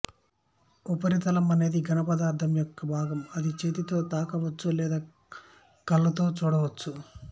ఉపరితలం అనేది ఘన పదార్థం యొక్క భాగం అది చేతితో తాకవచ్చు లేదా కళ్ళతో చూడవచ్చు